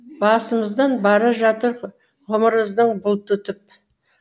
басымыздан бара жатыр ғұмырымыздың бұлты өтіп